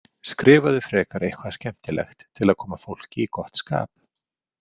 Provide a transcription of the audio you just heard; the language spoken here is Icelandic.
Skrifaðu frekar eitthvað skemmtilegt til að koma fólki í gott skap.